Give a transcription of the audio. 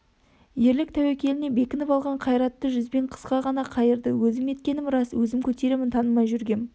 ерлік тәуекеліне бекініп алған қайратты жүзбен қысқа ғана қайырды өзім еткенім рас өзім көтеремін танымай жүргем